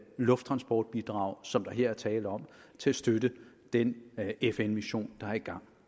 lufttransportbidrag som der her er tale om til at støtte den fn mission der er i gang